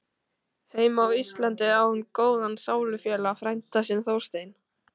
Heima á Íslandi á hún góðan sálufélaga, frænda sinn Þorstein